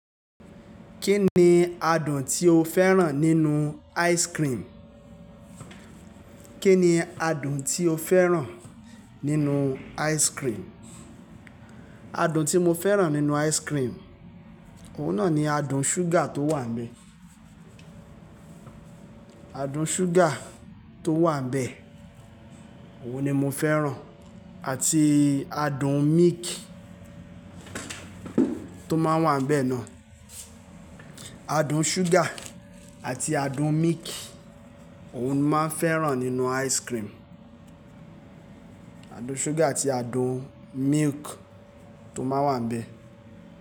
Kí ni adùn tí o fẹ́ràn nínú ice cream? Kí ni adùn tí o fẹ́ràn nínú ice cream? Adùn tí mo fẹ́ràn nínú ice cream, òun náà ni adùn ṣúgà tó wà bẹ. Adùn ṣúgà tó wà bẹ, ohùn ni mo fẹ́ràn àti adùn milk tó máa wà bẹ́ẹ̀ náà. Adùn ṣúgà àti adùn milk, ohùn máa fẹ́ràn nínú ice cream. Adùn ṣúgà àti adùn milk tó máa wà bẹ.